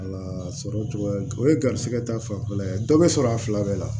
sɔrɔ cogoya o ye garisɛgɛ ta fanfɛla ye dɔ bɛ sɔrɔ a fila bɛɛ la